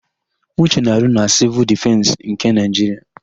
Uche na-arụ na Sịvụl Dịfensị nke Naịjiria.